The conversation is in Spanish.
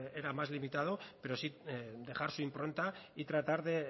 era más limitado pero sí dejar su impronta y tratar de